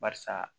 Barisa